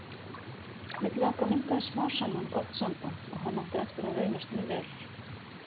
Milli okkar myndaðist smám saman gott samband og hann átti eftir að reynast mér vel.